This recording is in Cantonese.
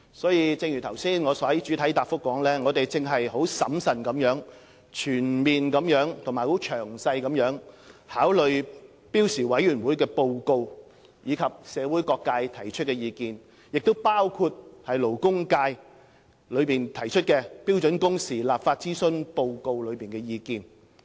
所以，正如我剛才在主體答覆中所說，我們正審慎地全面和詳細考慮標時委員會的報告，以及社會各界提出的意見，包括勞工界提交的《標準工時立法諮詢報告》所載的意見。